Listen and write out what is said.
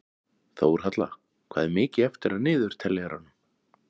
Þórhalla, hvað er mikið eftir af niðurteljaranum?